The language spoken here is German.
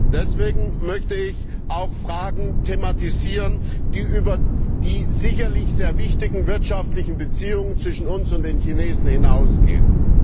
Deswegen möchte ich auch Fragen thematisieren, die über die sicherlich sehr wichtigen wirtschaftlichen Beziehungen zwischen uns und den Chinesen hinausgehen.